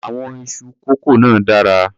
Àwọn iṣu kọ́kó náà dára.